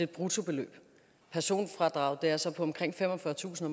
bruttobeløb personfradraget er så på omkring femogfyrretusind